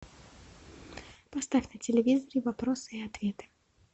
поставь на телевизоре вопросы и ответы